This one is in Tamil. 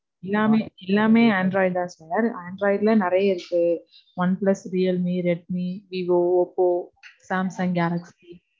எல்லாமே, எல்லாமே android தான் sir. Android ல நிறைய இருக்கு. OnePlus, Realme, Redmi, Vivo, Oppo, Samsung Galaxy.